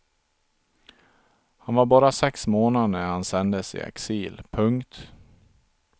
Han var bara sex månader när han sändes i exil. punkt